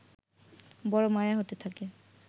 বড় মায়া হতে থাকে